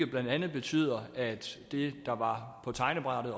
blandt andet betydet at det der oprindelig var på tegnebrættet